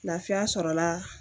Lafiya sɔrɔla